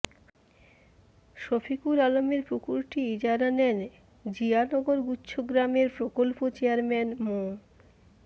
শফিকুর আলমের পুকুরটি ইজারা নেন জিয়ানগর গুচ্ছগ্রামের প্রকল্প চেয়ারম্যান মো